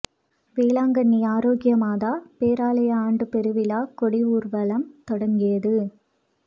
வேளாங்கண்ணி ஆரோக்கிய மாதா பேராலய ஆண்டு பெருவிழா கொடி ஊர்வலம் தொங்கியது